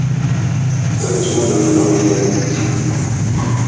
это письмо даёт нам неделю